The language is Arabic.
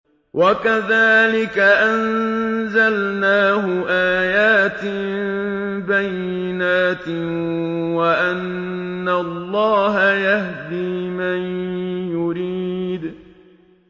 وَكَذَٰلِكَ أَنزَلْنَاهُ آيَاتٍ بَيِّنَاتٍ وَأَنَّ اللَّهَ يَهْدِي مَن يُرِيدُ